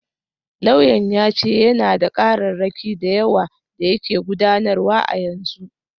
Lauyan ya ce yana da kararraki da yawa da yake gudanarwa a yanzu.